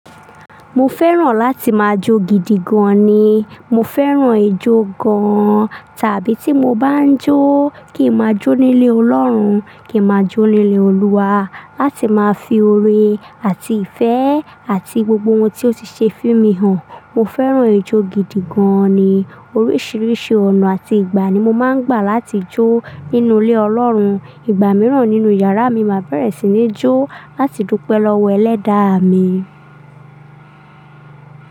Mo fẹ́ràn láti máa jó gidi gan ni. Mo fẹ́ràn ijó gan-an tàbí tí mo bá ń jó kí n máa jó nílé Ọlọ́run, kí n máa jó nílé Olúwa láti máa fi oore àti ìfẹ́ àti gbogbo ohun tí ó ti ṣe fún mi hàn. Mo fẹ́ràn ijó gidi gan ni. Oríṣiríṣi ọ̀nà àti ìgbà ni mo máa ń gbà láti jó nínú ilé Ọlọ́run. Ìgbà mìíràn nínú yàrá mi, màá bẹ̀rẹ̀ sí ní jó láti dúpẹ́ lọ́wọ́ Ẹlẹ́daà mi.